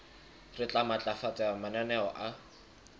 re tla matlafatsa mananeo a